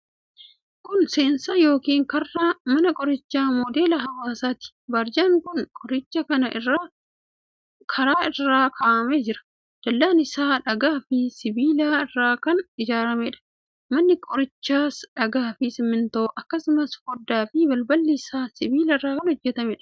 Kun seensa yookiin karra Mana Qorichaa Moodela Hawaasaati. Barjaan mana qorichaa kanaa karra irra kaa'amee jira. Dallaan isaa dhagaa fi sibiila irraa kan ijaarameedha. Manni qorichichaas dhagaafi simintoo, akkasumas foddaaf balballi isaa sibiila irraa kan hojjetameedha.